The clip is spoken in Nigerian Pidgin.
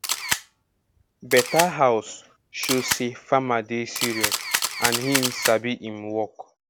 better house show say farmer dey serious and him sabi um work